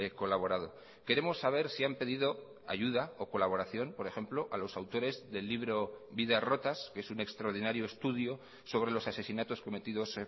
colaborado queremos saber si han pedido ayuda o colaboración por ejemplo a los autores del libro vidas rotas que es un extraordinario estudio sobre los asesinatos cometidos